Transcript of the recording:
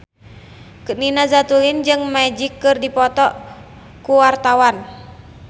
Nina Zatulini jeung Magic keur dipoto ku wartawan